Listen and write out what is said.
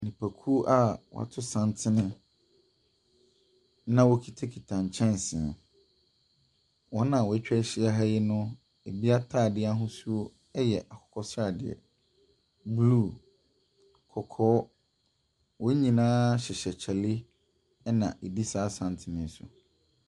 Nnipakuo a wɔato santene na wɔkutakuta nkyɛnse. Wɔn a wɔatwa ahyia ha yi no, ebi atade ahosuo yɛ akokɔ sradeɛ, blue, kɔkɔɔ. Wɔn nyinaa hyɛhyɛ kyale na wɔdi saa santene yi so.